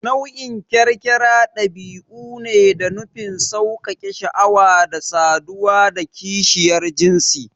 Nunin kyarkyara ɗabi'u ne da nufin sauƙaƙe sha'awa da saduwa da kishiyar jinsi